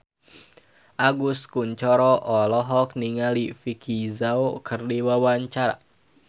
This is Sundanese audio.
Agus Kuncoro olohok ningali Vicki Zao keur diwawancara